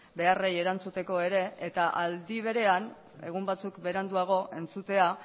beharrei erantzuteko ere eta aldi berean egun batzuk beranduago entzutea